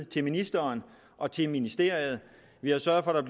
til ministeren og til ministeriet vi har sørget